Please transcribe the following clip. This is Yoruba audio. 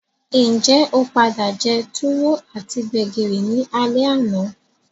Njé o padà je tuwo ati gbẹ̀gìrì ni alé àná?